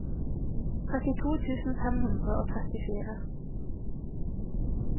trettito tusen fem hundre og trettifire